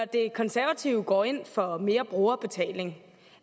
det konservative folkeparti går ind for mere brugerbetaling det